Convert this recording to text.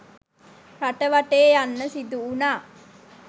රට වටේ යන්න සිදුවුණා.